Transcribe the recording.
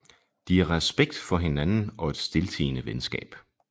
De har respekt for hinanden og et stiltiende venskab